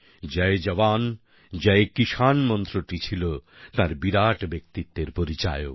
জয় জওয়ান জয় কিষাণ মন্ত্রটি ছিল তাঁর বিরাট ব্যক্তিত্বের পরিচায়ক